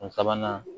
Sabanan